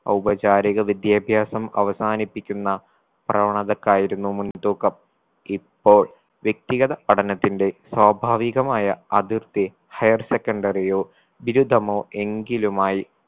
ഔപചാരിക വിദ്യാഭ്യാസം അവസാനിപ്പിക്കുന്ന പ്രവണതക്കായിരുന്നു മുൻതൂക്കം ഇപ്പോൾ വ്യക്തിഗത പഠനത്തിന്റെ സ്വാഭാവികമായ അതിർത്തി higher secondary ഓ ബിരുദമോ എങ്കിലുമായി